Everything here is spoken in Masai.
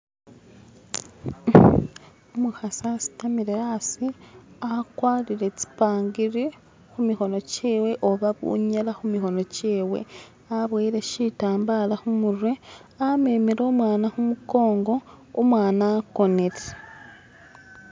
umukhasi asitamile aasi akwarire tsipangili khumikhono kyewe oba bunyera khumikhono kyewe aboyile shitambala khumurwe amemele umwana khumukongo umwana akonile.